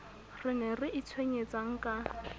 re ne re itshwenyetsang ka